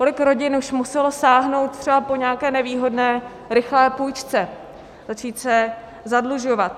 Kolik rodin už muselo sáhnout třeba po nějaké nevýhodné rychlé půjčce, začít se zadlužovat?